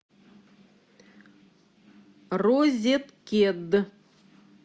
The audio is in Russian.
розеткед